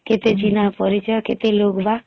କେତେ ଚିଂହା ପରିଚୟ କେତେ ଲୁକ ବାକ